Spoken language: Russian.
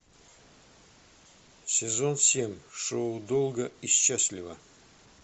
сезон семь шоу долго и счастливо